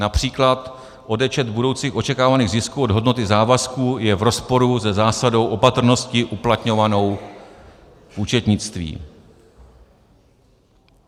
Například odečet budoucích očekávaných zisků od hodnoty závazků je v rozporu se zásadou opatrnosti uplatňovanou v účetnictví.